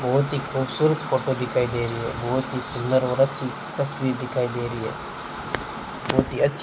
बहोत ही खूबसूरत फोटो दिखाई दे रही है बहोत ही सुंदर और अच्छी तस्वीर दिखाई दे रही है बहोत ही अच्छी --